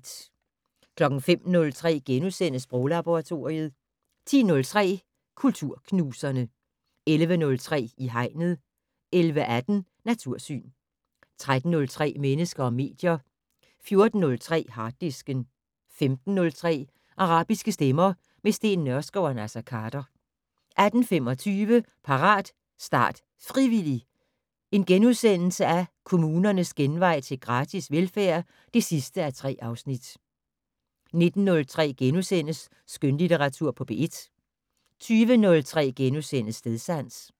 05:03: Sproglaboratoriet * 10:03: Kulturknuserne 11:03: I Hegnet 11:18: Natursyn 13:03: Mennesker og medier 14:03: Harddisken 15:03: Arabiske stemmer - med Steen Nørskov og Naser Khader 18:25: Parat, start, frivillig! - Kommunernes genvej til gratis velfærd (3:3)* 19:03: Skønlitteratur på P1 * 20:03: Stedsans *